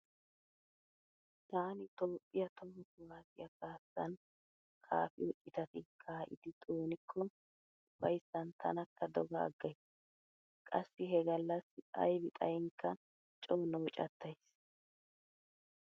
Taani toophphiya toho kuwaassiya kaassan kaafiyo citati kaa'idi xoonikko ufayssan tanakka doga aggays. Qassi he gallassi aybi xayinkka coo noocattays.